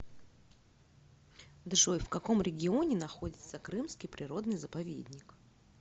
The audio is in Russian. джой в каком регионе находится крымский природный заповедник